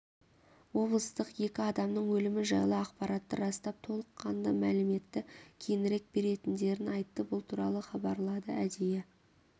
облыстық екі адамның өлімі жайлы ақпаратты растап толыққанды мәліметті кейінірек беретіндерін айтты бұл туралы хабарлады әдейі